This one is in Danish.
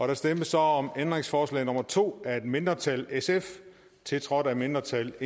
der stemmes så om ændringsforslag nummer to af et mindretal tiltrådt af et mindretal